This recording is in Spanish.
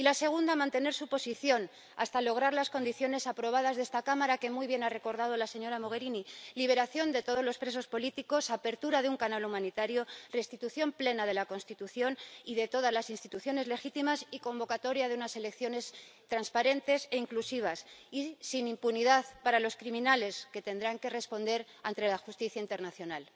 Y la segunda, mantener su posición hasta lograr las condiciones aprobadas por esta Cámara, que muy bien ha recordado la señora Mogherini liberación de todos los presos políticos, apertura de un canal humanitario, restitución plena de la Constitución y de todas las instituciones legítimas, y convocatoria de unas elecciones transparentes e inclusivas, sin impunidad para los criminales, que tendrán que responder ante la justicia internacional.